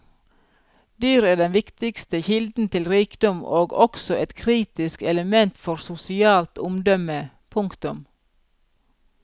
Dyr er den viktigste kilden til rikdom og også et kritisk element for sosialt omdømme. punktum